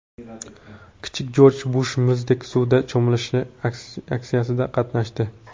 Kichik Jorj Bush muzdek suvda cho‘milish aksiyasida qatnashdi.